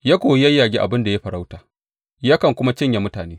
Ya koyi yayyage abin da ya yi farauta yakan kuma cinye mutane.